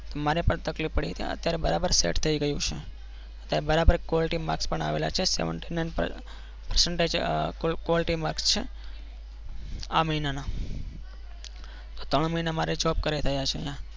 મને પણ તકલીફ પડતી હતી. અત્યારે બરોબર set થઈ ગયું છે અત્યારે બરાબર કોલેટી માર્ક પણ આવેલા છે. Seventy nine percentage quality mask છે આ મહિનાના. ત્રણ મહિના મારે job કરે થયા છે અહિયાં,